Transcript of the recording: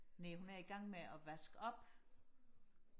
næh hun er i gang med og vaske op